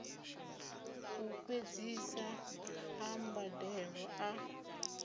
u fhedzisa ḽa mbadelo ḽa